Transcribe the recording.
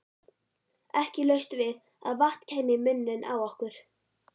Ekki laust við að vatn kæmi í munninn á okkur.